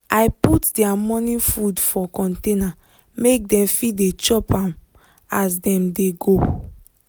i put their morning food for container make dem fit dey chop as dem dey go.